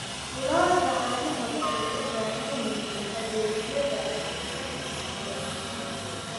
Lo'da caanaha waxay u baahan yihiin adeegyada dhakhtarka xoolaha.